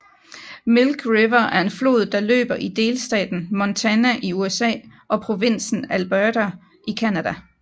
Milk River er en flod der løber i delstaten Montana i USA og provinsen Alberta i Canada